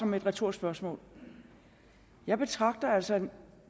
med et retorisk spørgsmål jeg betragter altså en